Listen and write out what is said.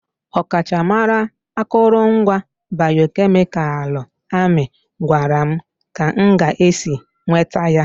Ọkachamara akụrụngwa bayomedikalụ amị gwara m ka m ga-esi nweta ya.